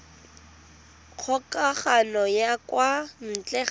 kgokagano ya kwa ntle ka